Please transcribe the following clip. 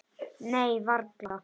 Nei, varla.